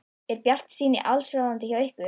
Er bjartsýnin allsráðandi hjá ykkur?